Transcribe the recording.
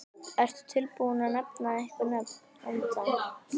Ertu tilbúinn að nefna einhver nöfn ennþá?